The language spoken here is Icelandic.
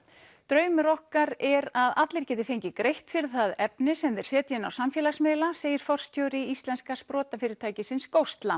draumur okkar er að allir geti fengið greitt fyrir það efni sem þeir setja inn á samfélagsmiðla segir forstjóri íslenska sprotafyrirtækisins